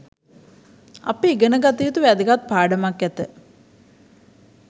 අප ඉගෙන ගත යුතු වැදගත් පාඩමක් ඇත.